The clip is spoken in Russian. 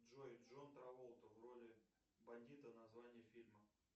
джой джон траволта в роли бандита название фильма